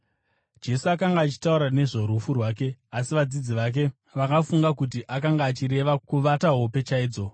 Jesu akanga achitaura nezvorufu rwake, asi vadzidzi vake vakafunga kuti akanga achireva kuvata hope chaidzo.